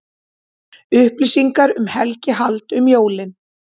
Upplýsingar um helgihald um jólin